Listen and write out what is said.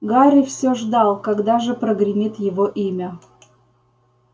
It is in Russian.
гарри всё ждал когда же прогремит его имя